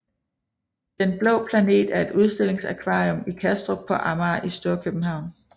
Den Blå Planet er et udstillingsakvarium i Kastrup på Amager i Storkøbenhavn